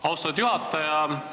Austatud juhataja!